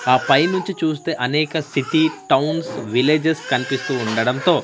ఆ పై నుంచి చూస్తే అనేక సిటీ టౌన్స్ విలేజెస్ కన్పిస్తూ ఉండడంతో--